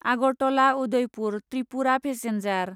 Agartala Udaipur Tripura passenger